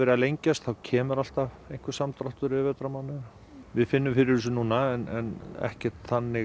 að lengjast þá kemur alltaf samdráttur yfir vetrarmánuðina við finnum fyrir þessu núna en ekki þannig